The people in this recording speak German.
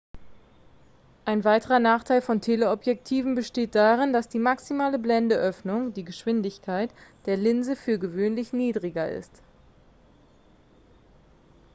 ein weiterer nachteil von teleobjektiven besteht darin dass die maximale blendenöffnung die geschwindigkeit der linse für gewöhnlich niedriger ist